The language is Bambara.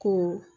Ko